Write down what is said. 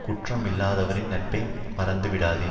குற்றம் இல்லாதவரின் நட்பை மறந்து விடாதே